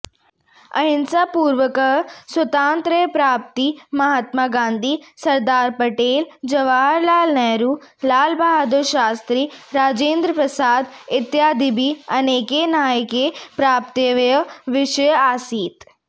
अहिंसापूर्वकं स्वातन्त्र्यप्राप्तिः महात्मा गान्धिः सरदारपटेलः जवाहरलालनेहरु लालबहदुरशास्त्री राजेन्द्रप्रसादः इत्यादिभिः अनेकैः नायकैः प्राप्तव्यः विषयः आसीत्